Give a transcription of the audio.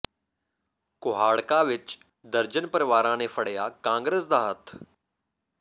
ਕੁਹਾੜਕਾ ਵਿਚ ਦਰਜਨ ਪਰਿਵਾਰਾਂ ਨੇ ਫੜਿਆ ਕਾਂਗਰਸ ਦਾ ਹੱਥ